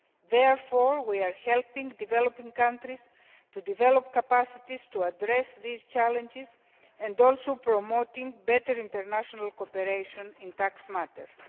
Therefore, we are helping developing countries to develop capacities to address these challenges and also promoting better international cooperation in tax matters.